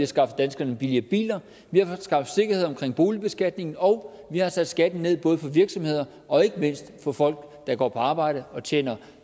skaffet danskerne billigere biler vi har skaffet sikkerhed omkring boligbeskatningen og vi har sat skatten ned for virksomheder og ikke mindst for folk der går på arbejde og tjener